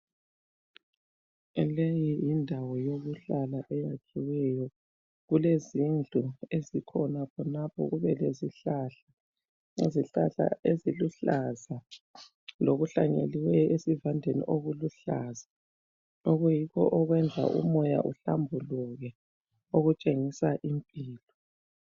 Leyi yindawo yokuhlala eyakhelweyo. Kulezindlu ezikhona khonapho lezihlahla izihlahla eziluhlaza lokuhlanyelweyo esivandeni okuluhlaza okuyikho okwenza umoya uhlambuluke okutshengisa impilo.